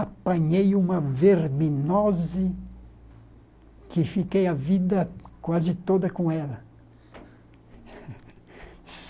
Apanhei uma verminose que fiquei a vida quase toda com ela.